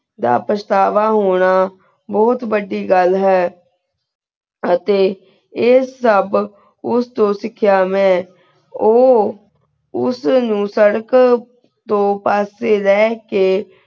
ਦਾ ਪਛਤਾਵਾ ਹੋਣਾ ਬੋਹਤ ਵਾਦੀ ਗਲ ਹੈ ਅਤੀ ਏ ਸਬ ਉਸ ਤੋ ਸਿਖਯ ਮੈਂ ਊ ਉਸ ਨੂ ਸਰ੍ਰਕ ਤੋ ਪਾਸ੍ਸ੍ਯ ਲੇ ਕੇ